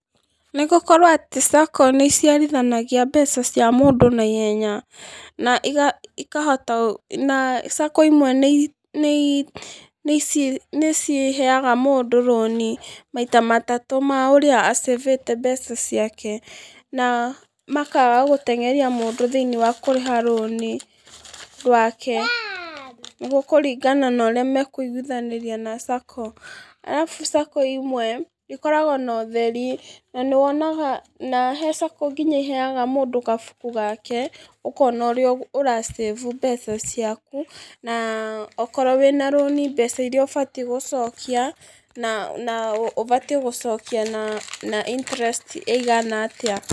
Nĩgũkorwo atĩ SACCO nĩiciarithanagia mbeca cia mũndũ naihenya na iga ikahota gũ na SACCO imwe nĩi nĩi nĩci nĩciheaga mũndũ rũni maita matatũ ma ũrĩa a save te mbeca ciake, na makaga gũteng'eria mũndũ thĩinĩ wa kũrĩha rũni rwake, nĩgũkúringana norĩa mekũiguithanĩria na SACCO arabu SACCO imwe ikoragwo notheri, na nĩwonaga na gwĩ SACCO nginya iheaga mũndũ gabuku gake, ũkona ũrĩa ũra save mbeca ciaku, na okorwo wĩna rũni mbeca iria ũbataire gũcokia, na na ũbatiĩ gũcokia na na interest ĩigana atĩa.